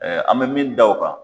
Ɛɛ an bɛ min da o kan.